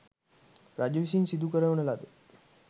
රජු විසින් සිදු කරවන ලද